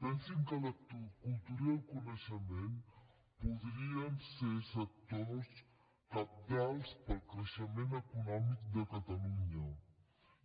pensin que la cultura i el coneixement podrien ser sectors cabdals per al creixement econòmic de catalunya